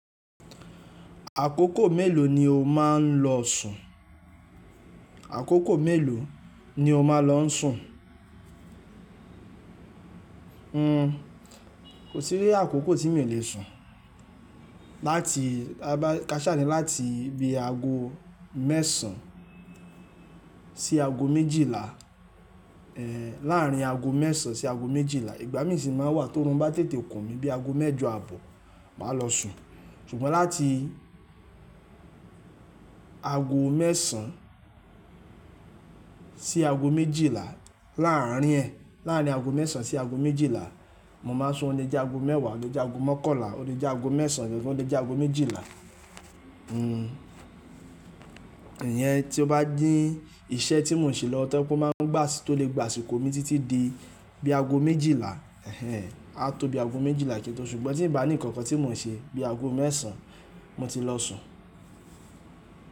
Àkókò mélòó ni o máa ń lọ sùn? Àkókò mélòó ni o máa ń lọ sùn? Nko sí rí àkókò tí mi ò le sùn. Láti kaṣá ni láti bí aago mẹ́sàn-án sí aago méjìlá, láàárín aago mẹ́sàn-án sí aago méjìlá. Ìgbá mi sì máa wà tí óorun bá tètè kun mí bí i aago mẹ́jọ àbọ̀, màá lọ sùn. Ṣùgbọ́n láti aago mẹ́sàn-án sí aago méjìlá láàárín ẹ, láàárín aago mẹ́sàn-án sí aago méjìlá, mo máa sun ò le jẹ́ aago mẹ́wàá, ò le jẹ́ aago mọ́kànlá, ò le jẹ́ aago mẹ́sàn-án, ò le jẹ́ aago méjìlá. Iyen tí ó bá dín iṣẹ́ tí mò ń ṣe lọ tán, kó máa ń gbàsì to lè gbàsìkò mi títí di bí i aago méjìlá, a tó bí i aago méjìlá kí ó tó ṣùgbọ́n tí ń bá ní nnkan kan tí mò ń ṣe bí i aago mẹ́sàn-án, mo ti lọ sùn.